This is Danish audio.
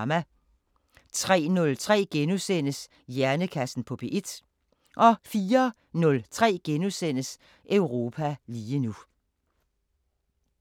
03:03: Hjernekassen på P1 * 04:03: Europa lige nu *